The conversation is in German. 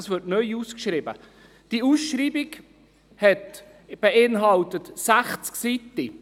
Diese werden neu ausgeschrieben, und die Ausschreibung beinhaltet 60 Seiten.